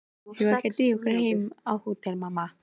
Eigum við ekki að drífa okkur heim á hótel, mamma?